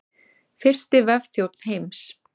Fyrsti vefþjónn heims.